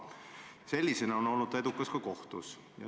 Ja sellisena on komisjon olnud edukas ka kohtus.